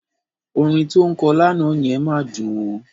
Orin tó ń kọ lánàá yẹn máa dùn ó.